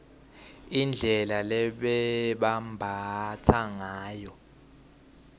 indlela lebebambatsa ngayo